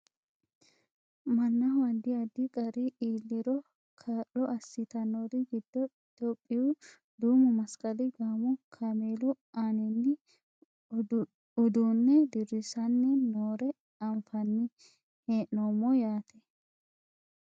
mannaho addi addi qarri iilliro kaa'lo assitannori giddo itiyophiyu duumu masqali gaamo kameelu aaninni uduunne dirrissanni noore anfanni hee'noommo yaate